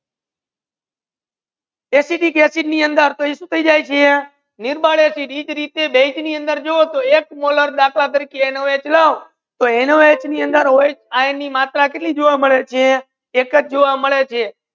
Acidic acid ની સુ થાઈ જાય છે અંદર નિર્બળ એસિડ જે રીટે બેઝ ની અંદર જુવો એક મુલ્યા દખલા તારીકે એન ઓ હ લખતો N O H O H ની અંદર આયન ની માત્ર કેતલી જોવા